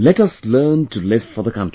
Let us learn to live for the country